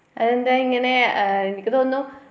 അതെന്താ ഇങ്ങനെ ആ എനിക്ക് തോന്നുന്നു